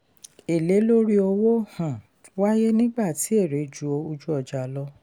èlé lórí owó um waye nígbà tí èrè ju ojú-ọjà lọ.